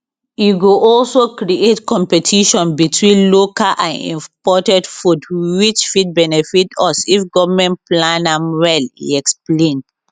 e go also create competition between local and imported food which fit benefit us if goment plan am well e explain